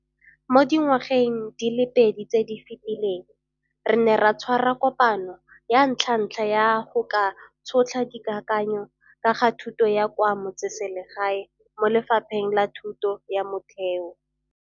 Mo dingwageng di le pedi tse di fetileng, re ne ra tshwara kopano ya ntlhantlha ya go ka Tšhotlha Dikakanyo ka ga Thuto ya kwa Metseselegae mo lephateng la thuto ya motheo.